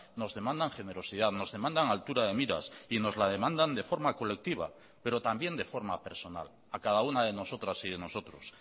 nos demandan generosidad nos demandan altura de miras y nos la demandan de forma colectiva pero también de forma personal a cada una de nosotras y de nosotros